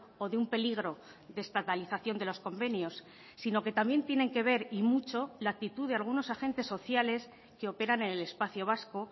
o de un peligro de estatalización de los convenios sino que también tienen que ver y mucho la actitud de algunos agentes sociales que operan en el espacio vasco